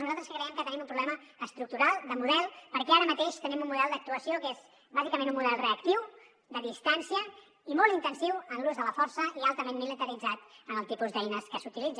nosaltres creiem que tenim un problema estructural de model perquè ara mateix tenim un model d’actuació que és bàsicament un model reactiu de distància i molt intensiu en l’ús de la força i altament militaritzat en el tipus d’eines que s’utilitzen